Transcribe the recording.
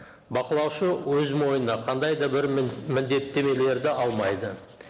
бақылаушы өз мойнына қандай да бір міндеттемелерді алмайды